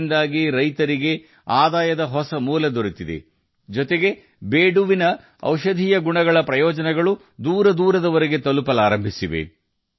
ಇದರಿಂದಾಗಿ ರೈತರು ಹೊಸ ಆದಾಯದ ಮೂಲವನ್ನು ಕಂಡುಕೊಂಡಿದ್ದಾರೆ ಮಾತ್ರವಲ್ಲದೆ ಬೀಡು ಹಣ್ಣಿನ ಔಷಧೀಯ ಗುಣಗಳ ಪ್ರಯೋಜನಗಳು ದೂರದವರೆಗೆ ತಲುಪಲು ಪ್ರಾರಂಭಿಸಿವೆ